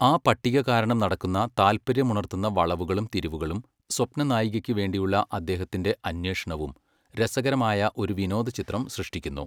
ആ പട്ടിക കാരണം നടക്കുന്ന താല്പര്യമുണർത്തുന്ന വളവുകളും തിരിവുകളും സ്വപ്നനായികയ്ക്കുവേണ്ടിയുള്ള അദ്ദേഹത്തിൻ്റെ അന്വേഷണവും രസകരമായ ഒരു വിനോദചിത്രം സൃഷ്ടിക്കുന്നു.